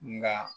Nka